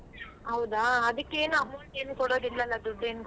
ಹೌದಾ ಅದಕ್ಕೇನು amount ಏನು ಕೊಡೋದಿಲ್ಲಲ ದುಡ್ಡೇನು.